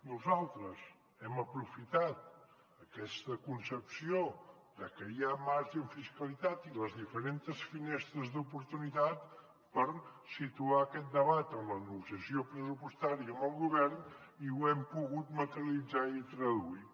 nosaltres hem aprofitat aquesta concepció de que hi ha marge en fiscalitat i les diferentes finestres d’oportunitat per situar aquest debat en la negociació pressupostària amb el govern i ho hem pogut materialitzar i traduir